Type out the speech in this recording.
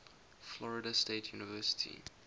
florida state university